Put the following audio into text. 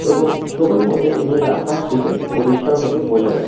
এবং ছবির মধ্যে নিরা ফাচটিকে পরিষ্কারভাবে বোঝা যা --